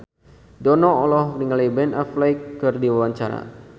Dono olohok ningali Ben Affleck keur diwawancara